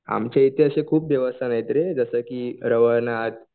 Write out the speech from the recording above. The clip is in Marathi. आमच्याइथे असे खूप देवस्थान आहेत रे जसं की रवनाथ